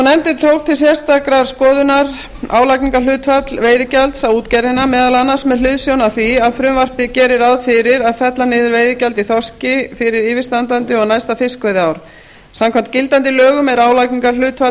nefndin tók til sérstakrar skoðunar álagningarhlutfall veiðigjalds á útgerðina meðal annars með hliðsjón af því að frumvarpið gerir ráð fyrir að fella niður veiðigjald í þorski fyrir yfirstandandi og næsta fiskveiðiár samkvæmt gildandi lögum er álagningarhlutfall